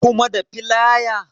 Kuma da filaya?